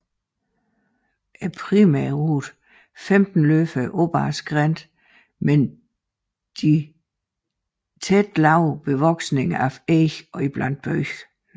Primærrute 15 løber op ad skrænterne med de tætte lave bevoksninger af eg iblandet bøg